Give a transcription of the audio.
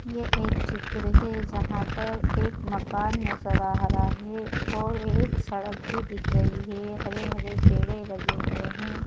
यह एक चित्र है जहां पर एक मकान नजर आ रहा है और एक सड़क भी दिख रही है हरे-हरे पेड़े लगे हुए हैं।